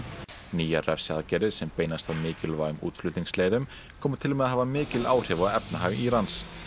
nýjar refsiaðgerðir sem beinast að mikilvægum koma til með að hafa mikil áhrif á efnahag Írans